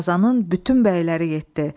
Qazanın bütün bəyləri getdi.